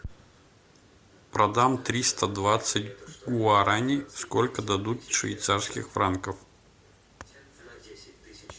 продам триста двадцать гуарани сколько дадут швейцарских франков